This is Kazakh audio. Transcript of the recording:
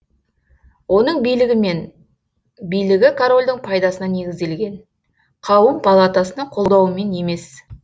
оның билігі мен билігі корольдің пайдасына негізделген қауым палатасының қолдауымен емес